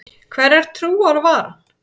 Hverrar trúar var hann?